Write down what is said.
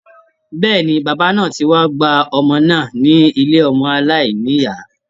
Bẹ́ẹ̀ni, bàbá náà ti wá gba ọmọ náà ní ilé ọmọ aláìnìyá.